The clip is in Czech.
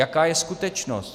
Jaká je skutečnost?